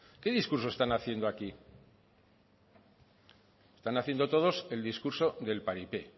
qué discurso están haciendo aquí están haciendo todos el discurso del paripé